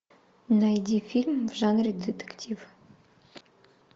найди фильм в жанре детектив